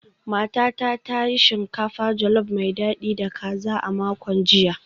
Matata ta yi shinkafa jolof mai dadi da kaza a makon jiya